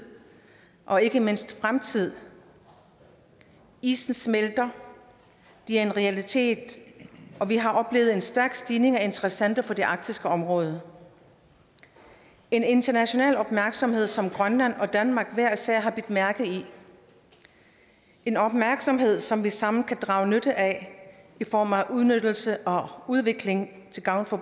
og ikke mindst fremtid isen smelter det er en realitet og vi har oplevet en stærk stigning af interessenter på det arktiske område en international opmærksomhed som grønland og danmark hver især har bidt mærke i en opmærksomhed som vi sammen kan drage nytte af i form af udnyttelse og udvikling til gavn for